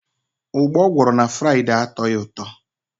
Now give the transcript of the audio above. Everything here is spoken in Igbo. Ugba o gworo m na Fraide atoghi uto.